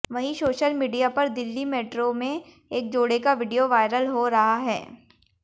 वहीं social media पर Delhi metro में एक जोड़े का वीडियो वायरल हो रहा है